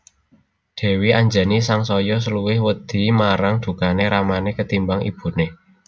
Dèwi Anjani sangsaya luwih wedi marang dukané ramané ketimbang ibuné